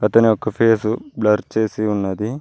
అతని యొక్క face blur చేసి ఉన్నది.